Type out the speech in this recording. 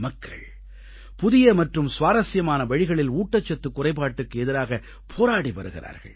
மக்கள் புதிய மற்றும் சுவாரசியமான வழிகளில் ஊட்டச்சத்துக் குறைபாட்டுக்கு எதிராக போராடி வருகிறார்கள்